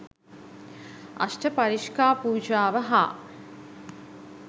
අෂ්ට පරිෂ්කා පූජාව හා